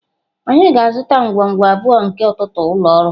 Anyị ga-azụta ngwungwu abụọ nke ntụtụ ụlọ ọrụ.